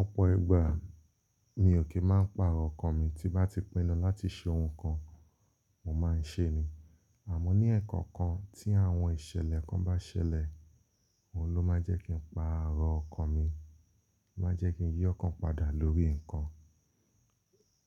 Ọ̀pọ̀ ìgbà mi ò kí máa ń pa àárọ̀ ọkọ̀ mi tí bá ti pinnu láti ṣe ohun kan mo máa ń ṣe ni. Àmọ́ ní ẹ̀ẹ̀kan kan tí àwọn ìṣẹ̀lẹ̀ kan bá ṣẹlẹ̀, òun ló máa ń jẹ́ kí n pa àárọ̀ ọkọ̀ mi, ó máa ń jẹ́ kí n yí ọ́ kan padà lórí nǹkan.